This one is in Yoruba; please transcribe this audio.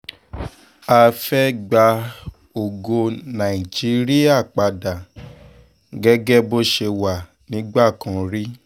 a fẹ́ ẹ gba ògo nàìjíríà padà gẹ́gẹ́ bó ṣe wà nígbà kan rí